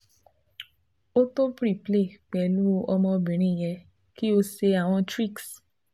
O to preplay pẹlu ọmọbirin yẹ ki o ṣe awọn tricks